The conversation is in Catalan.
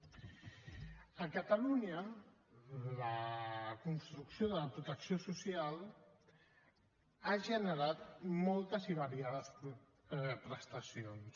a catalunya la construcció de la protecció social ha generat moltes i variades prestacions